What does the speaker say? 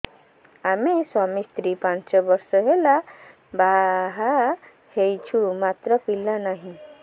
ଆମେ ସ୍ୱାମୀ ସ୍ତ୍ରୀ ପାଞ୍ଚ ବର୍ଷ ହେଲା ବାହା ହେଇଛୁ ମାତ୍ର ପିଲା ନାହିଁ